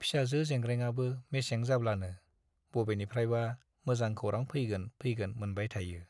फिसाजो जेंग्रेंआबो मेसें जाब्लानो बबेनिफ्रायबा मोजां खौरां फैगोन फैगोन मोनबाय थायो।